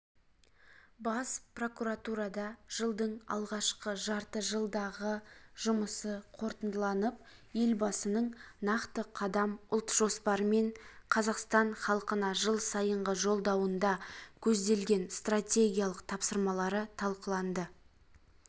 бас прокуратурада жылдың алғашқыжарты жылдағыжұмысы қорытындыланып елбасының нақты қадам ұлт жоспары мен қазақстан халқына жыл сайынғы жолдауында көзделген стратегиялық тапсырмалары талқыланды